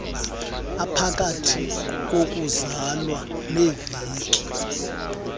ephakathi kokuzalwa neeveki